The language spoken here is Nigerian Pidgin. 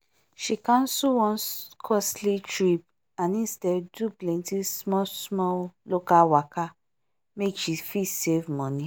she cancel one costly trip and instead do plenty small-small local waka make she fit save money.